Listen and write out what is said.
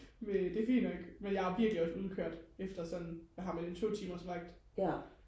men det er fint nok men jeg er virkelig også udkørt efter sådan hvad har man en to timers vagt